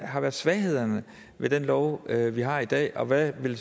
har været svaghederne ved den lov vi har i dag og hvad ville